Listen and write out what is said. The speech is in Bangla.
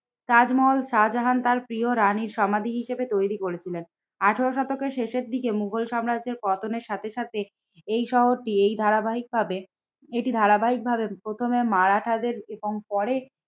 তাজমহল শাহজাহান তার প্রিয় রানীর সমাধি হিসেবে তৈরি করেছিলেন। আঠেরো শতকের শেষের দিকে মুঘল সাম্রাজ্যের পতনের সাথে সাথে এই শহরটি এই ধারাবাহিকভাবে এটি ধারাবাহিকভাবে প্রথমে মারাঠাদের এবং পরে